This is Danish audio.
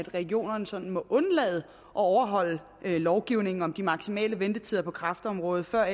regionerne sådan må undlade at overholde lovgivningen om de maksimale ventetider på kræftområdet før